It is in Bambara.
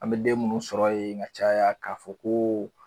An bɛ den minnu sɔrɔ yen ka caya k'a fɔ ko